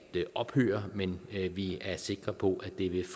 ophøre men vi er sikre på at det vil